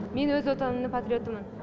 мен өз отанымның патриотымын